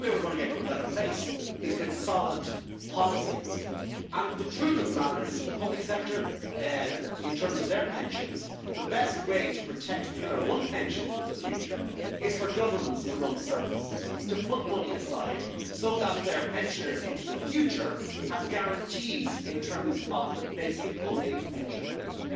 La question, par exemple, de la définition du capital s'agit il du capital nominal, s'agit il du capital après déduction des frais? C'est la raison pour laquelle mon groupe s'est abstenu sur ce texte lors du vote en commission. C'est la raison pour laquelle nous demandons à notre équipe de négociation, dans la discussion qui doit s'engager